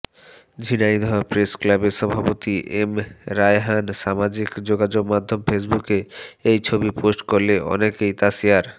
ঝিনাইদহ প্রেসক্লাবের সভাপতি এম রায়হান সামাজিক যোগাযোগমাধ্যম ফেসবুকে এই ছবি পোস্ট করলে অনেকেই তা শেয়ার